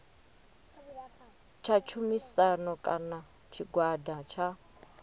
tsha tshumisano kana tshigwada tsha